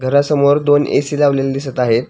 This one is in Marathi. घरासमोर दोन ए.सी. लावलेले दिसत आहे.